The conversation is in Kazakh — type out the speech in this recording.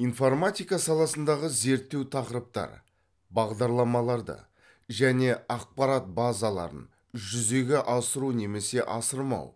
информатика саласындағы зерттеу тақырыптар бағдарламаларды және ақпарат базаларын жүзеге асыру немесе асырмау